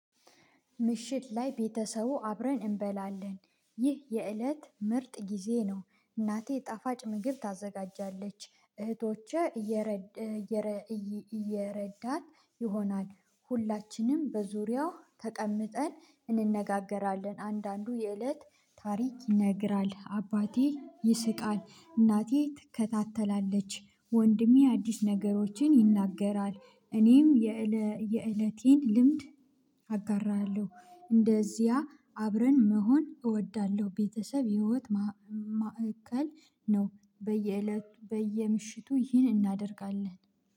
ምሽት ላይ ቤተሰቡ አብረን እንበላለን። ይህ የእለት ምርጥ ጊዜ ነው እናቴ ጣፋጭ ምግብ ታዘጋጃለች እህቶቼ። እየረዳት ይሆናል ሁላችንም በዙሪያው ተቀምጠን እንነጋገራለን አንዳንዱ የእለት ታሪክ ይነግራል አባቴ ይስቃል እናቴ ትከታተላለች ወንድሜ አዲስ ነገሮችን ይናገራል እኔም የእለቴን ልምድ አጋራለሁ እንደዚያ አብረን መሆን እወዳለሁ ቤተሰብ ህይወት ማዕከል ነው በየእለቱ በየምሽቱ ይህን እናደርጋለን